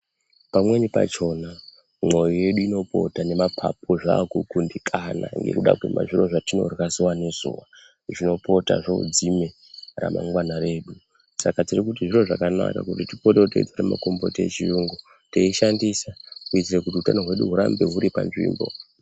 Pamweni pachona mwoyo yedu inopota nemapapu zvaa kukundikana ngekuda kwezviro zvatinorya zuva nezuva zvinopota zvodzime ramangwana redu. Saka tiri kuti zviro zvakanaka kuti tipotewo teitora makomboti echiyungu, teishandisa kuitire kuti utano hwedu hurambe huri panzvimbo.